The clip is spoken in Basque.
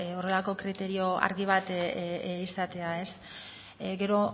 horrelako kriterio argi bat izatea gero